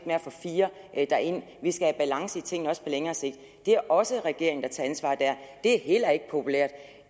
med at få fire derind vi skaber balance i tingene også på længere sigt det er også regeringen der tager ansvaret der det er heller ikke populært